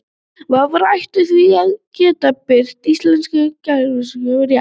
Vafrar ættu því að geta birt íslensku gæsalappirnar rétt.